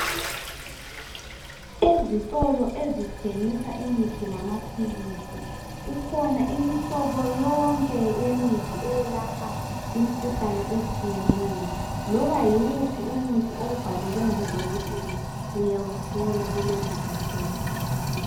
Ezitolo ezithengisa imithi lamaphilisi kukhona imihlobo yonke yemithi eyelapha imikhuhlane etshiyeneyo loba yiwuphi umuthi owubhalelwe ngudokotela uyawuthola kulezizitolo